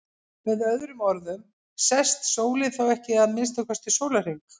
Með öðrum orðum sest sólin þá ekki í að minnsta kosti sólarhring.